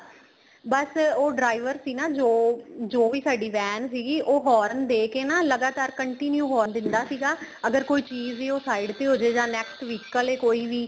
ਬੱਸ ਉਹ driver ਸੀ ਨਾ ਜੋ ਜੋ ਸਾਡੀ van ਸੀਗੀ ਉਹ horn ਦੇਕੇ ਨਾ ਲਗਾਤਾਰ continue horn ਦਿੰਦਾ ਸੀਗਾ ਅਗਰ ਕੋਈ ਚੀਜ਼ ਏ ਉਹ side ਤੇ ਹੋਜੇ ਜਾ next vehicle ਏ ਕੋਈ ਵੀ